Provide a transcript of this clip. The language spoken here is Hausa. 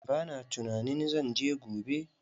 Ba na tunanin zan je gobe.